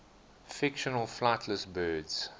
fictional flightless birds